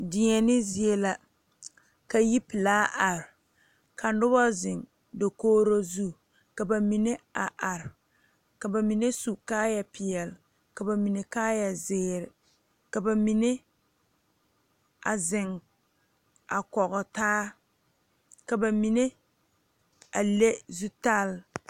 Deɛne zie la ka ui pelaa arevka nobɔ zeŋ dokogro zu ka ba mine a are ka ba mine su kaayɛ peɛle ka ba mine kaayɛ zeere ka ba mine a zeŋ kɔge taa ka ba mine a le zutale.